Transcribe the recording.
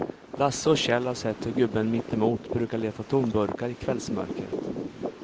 Lasse och Kjell har sett hur gubben mittemot brukar leta tomburkar i kvällsmörkret.